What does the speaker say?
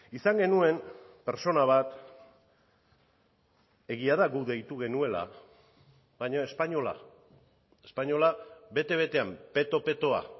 izan genuen pertsona bat egia da guk deitu genuela baina espainola espainola bete betean peto petoa